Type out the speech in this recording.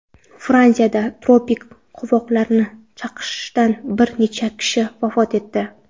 Fransiyada tropik qovog‘ari chaqishidan bir necha kishi vafot etdi.